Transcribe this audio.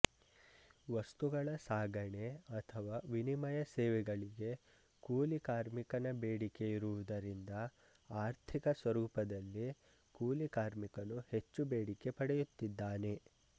ವಸ್ತುಗಳ ಸಾಗಣೆ ಅಥವಾ ವಿನಿಮಯ ಸೇವೆಗಳಿಗೆ ಕೂಲಿಕಾರ್ಮಿಕನ ಬೇಡಿಕೆ ಇರುವುದರಿಂದ ಆರ್ಥಿಕ ಸ್ವರೂಪದಲ್ಲಿ ಕೂಲಿಕಾರ್ಮಿಕನು ಹೆಚ್ಚು ಬೇಡಿಕೆ ಪಡೆಯುತ್ತಿದ್ದಾನೆ